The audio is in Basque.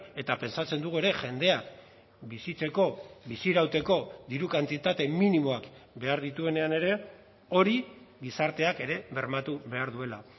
eta pentsatzen dugu ere jendea bizitzeko bizirauteko diru kantitate minimoak behar dituenean ere hori gizarteak ere bermatu behar duela